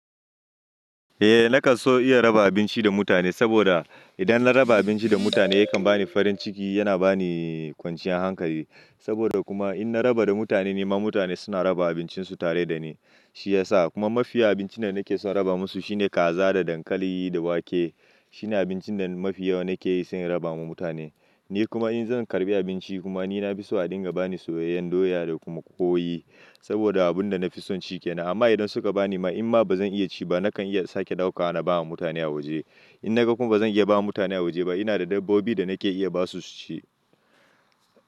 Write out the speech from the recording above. Eh, nakan so iya raba abinci da mutane saboda idan na raba abinci da mutane yakan bani farin ciki, yana bani kwanciyar hankali. Saboda kuma in na raba da mutane, ni ma mutane suna raba abincinsu tare da ni. Shi ya sa kuma mafi yawan abincin da nake son raba musu shine kaza da dankali da wake. Shine abincin da mafi yawa nake yi sai raba ma mutane. Ni kuma in zan karbi abinci kuma ni na fi so a dinga bani soyayyen doya da kuma ƙoyi saboda abun da na fi son shike nan. Amma idan suka bani ma in ma ba zan iya ci ba nakan iya sake ɗauka na ba wa mutane a waje. In na ga kuma ba zan iya ba mutane a waje ba, ina da dabbobi da nake iya ba su su ci.